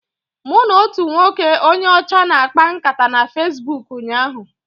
Mụ na otu nwoke onye ọcha na-akpa nkata na Fesbuk ụnyaahụ.